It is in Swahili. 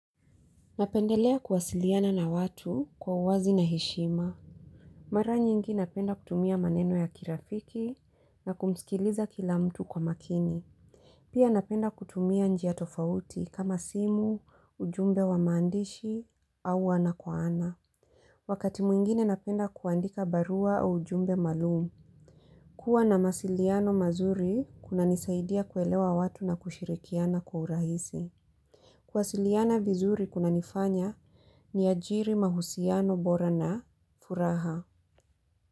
Napendelea kuwasiliana na watu kwa uwazi na heshima. Mara nyingi napenda kutumia maneno ya kirafiki na kumsikiliza kila mtu kwa makini. Pia napenda kutumia njia tofauti kama simu, ujumbe wa maandishi, au ana kwa ana. Wakati mwingine napenda kuandika barua au ujumbe maalum. Huwa na masiliano mazuri kunanisaidia kuelewa watu na kushirikiana kwa urahisi. Kuwasiliana vizuri kunanifanya ni ajiri mahusiano bora na furaha.